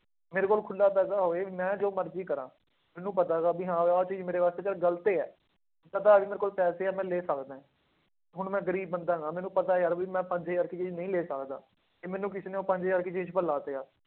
ਮੇਰੇ ਕੋਲ ਖੁੱਲਾ ਪੈਸਾ ਹੋਏ ਮੈਂ ਜੋ ਮਰਜ਼ੀ ਕਰਾਂ, ਮੈਨੂੰ ਪਤਾ ਗਾ ਵੀ ਹਾਂ ਆਹ ਚੀਜ਼ ਮੇਰੇ ਵਾਸਤੇ ਚੱਲ ਗ਼ਲਤ ਹੈ, ਪਤਾ ਵੀ ਮੇਰੇ ਕੋਲ ਪੈਸੇ ਹੈ ਮੈਂ ਲੈ ਸਕਦਾ ਹੈ, ਹੁਣ ਮੈਂ ਗ਼ਰੀਬ ਬੰਦਾ ਹੈਗਾ ਮੈਨੂੰ ਪਤਾ ਯਾਰ ਵੀ ਮੈਂ ਪੰਜ ਹਜ਼ਾਰ ਦੀ ਚੀਜ਼ ਨਹੀਂ ਲੈ ਸਕਦਾ, ਤੇ ਮੈਨੂੰ ਕਿਸੇ ਨੇ ਉਹ ਪੰਜ ਹਜ਼ਾਰ ਦੀ ਚੀਜ਼ ਪਰ ਲਾਤਿਆ,